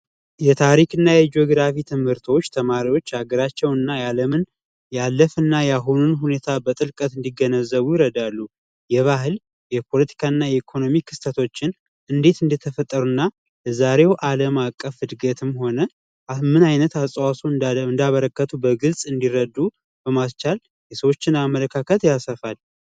የታሪክና የጂኦግራፊ ትምህርቶች ተማሪዎች የሀገራችን ያለፈ ታሪክና የአሁን ሁኔታ በጥልቀት እንዲገነዘቡ ይረዳሉ የባህል የፖለቲካና የኢኮኖሚ ክስተቶችን እንዴት እንደተፈጠሩና ለዛሬው ዓለም አቀፍ እድገትም ሆነ ምን አይነት አስተዋጾ እንዳበረከቱ በግልጽ እንዲረዱ በማስቻል የሰዎችን አመለካከት ያሰፋል።